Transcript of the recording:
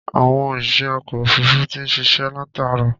Àwọn òṣìṣẹ́ ọkọ̀ òfuruufú ti ń ṣiṣẹ́ látààárọ̀.